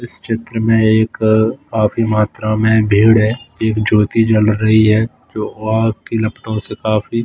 इस चित्र में एक काफी मात्रा में भीड़ है एक ज्योति जल रही है जो आग की लपटों से काफी--